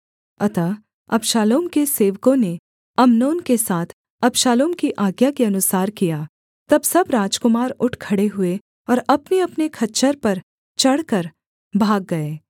अतः अबशालोम के सेवकों ने अम्नोन के साथ अबशालोम की आज्ञा के अनुसार किया तब सब राजकुमार उठ खड़े हुए और अपनेअपने खच्चर पर चढ़कर भाग गए